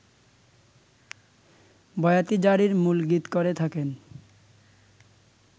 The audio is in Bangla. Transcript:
বয়াতি জারির মূল গীত করে থাকেন